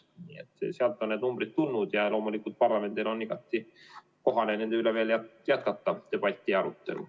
Nii et sealt on need numbrid tulnud ja loomulikult parlamendil on igati kohane jätkata nende üle debatti ja arutelu.